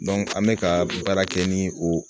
an bɛ ka baara kɛ ni o